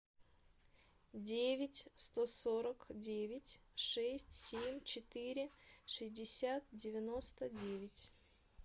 девять сто сорок девять шесть семь четыре шестьдесят девяносто девять